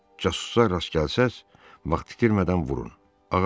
Casusa rast gəlsəz, vaxt itirmədən vurun.